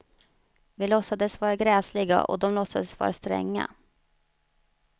Vi låtsades vara gräsliga och de låtsades vara stränga.